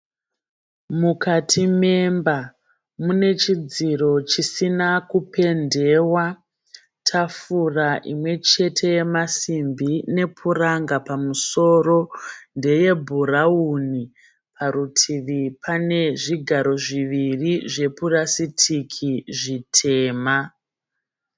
Mukati memba mune chidziro chisina kupendewa. Tafura imwe chete yemasimbi nepuranga pamusoro ndeyebhurawuni. Parutivi pane zvigaro zviviri zvepurasitiki zvitema.